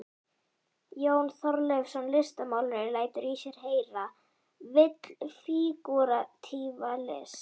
Jón Þorleifsson listmálari lætur í sér heyra, vill fígúratíva list.